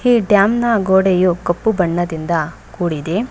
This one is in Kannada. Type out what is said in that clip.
ಈ ಡ್ಯಾಮ್ ನ ಗೋಡೆಯು ಕಪ್ಪು ಬಣ್ಣದಿಂದ ಕೂಡಿದೆ